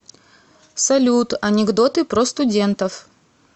салют анекдоты про студентов